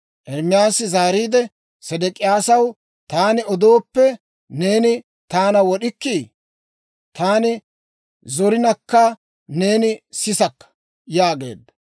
Ermaasi zaariide Sedek'iyaasaw, «Taani odooppe, neeni taana wod'ikkii? Taani zorinakka, neeni sisakka» yaageedda.